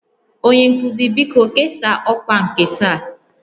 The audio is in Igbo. Onye nkuzi, biko kesaa ọkwa nke taa